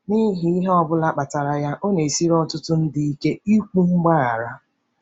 N'ihi ihe ọ bụla kpatara ya, ọ na-esiri ọtụtụ ndị ike ikwu mgbaghara.